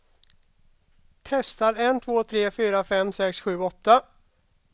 Testar en två tre fyra fem sex sju åtta.